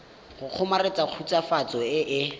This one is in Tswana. go kgomaretsa khutswafatso e e